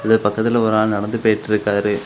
இது பக்கத்துல ஒரு ஆள் நடந்து போயிட்டுருக்காரு.